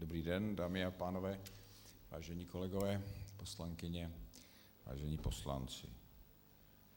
Dobrý den, dámy a pánové, vážení kolegové, poslankyně, vážení poslanci.